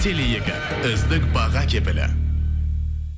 теле екі үздік баға кепілі